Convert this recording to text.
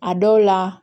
A dɔw la